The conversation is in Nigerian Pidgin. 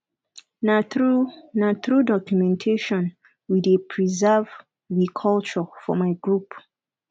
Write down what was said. na through na through documentation we dey preserve we culture for my group